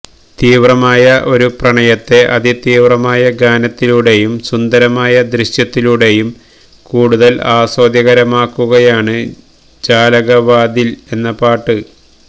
തീവ്രമായ ഒരു പ്രണയത്തെ അതി തീവ്രമായ ഗാനത്തിലൂടെയും സുന്ദരമായ ദൃശ്യത്തിലൂടെയും കൂടുതല് ആസ്വാദ്യകരമാക്കുകയാണ് ജാലകവാതില് എന്ന പാട്ട്